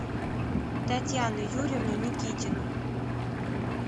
татьяну юрьевну никитину